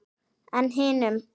En hinum?